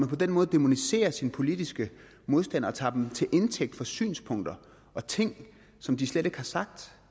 på den måde dæmoniserer sine politiske modstandere og tager dem til indtægt for synspunkter og ting som de slet ikke har sagt